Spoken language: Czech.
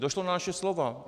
Došlo na naše slova.